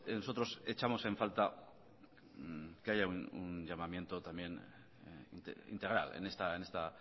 nosotros echamos en falta que haya un llamamiento también integral en esta